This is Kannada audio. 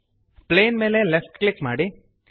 ಪ್ಲೇನ್ ಮೇಲೆ ಲೆಫ್ಟ್ ಕ್ಲಿಕ್ ಮಾಡಿ